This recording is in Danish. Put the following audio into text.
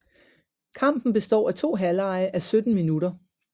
Kampen består af to halvlege á 17 minutter